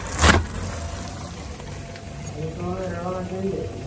ମୁଁ ତ ରେଳ ଗାଡି ରେ ହିଁ ଯାଇଥିଲି